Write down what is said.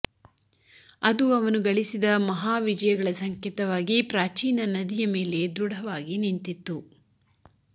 ಅದು ಅವನು ಗಳಿಸಿದ ಮಹಾವಿಜಯಗಳ ಸಂಕೇತವಾಗಿ ಪ್ರಾಚೀನ ನದಿಯ ಮೇಲೆ ದೃಢವಾಗಿ ನಿಂತಿತ್ತು